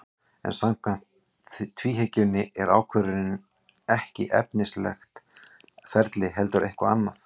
En samkvæmt tvíhyggjunni er ákvörðunin ekki efnislegt ferli heldur eitthvað annað.